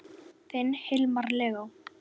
Þinn Hilmar Leó.